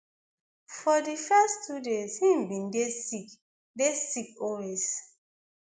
for di first two days im bin dey sick dey sick always